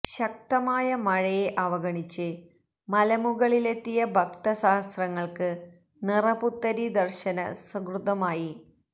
ശക്തമായ മഴയെ അവഗണിച്ച് മലമുകളിലെത്തിയ ഭക്ത സഹസ്രങ്ങള്ക്ക് നിറപുത്തരി ദര്ശന സുകൃതമായി